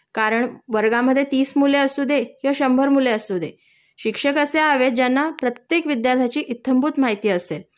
कारण वर्गामध्ये तीस मुले असू दे किंवा शंभर मुले असू दे, शिक्षक असे हवे ज्यांना प्रत्येक विद्यार्थ्यांची इत्यंभूत माहिती असेल